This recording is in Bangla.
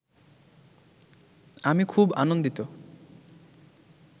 আমি খুব আনন্দিত